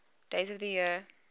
days of the year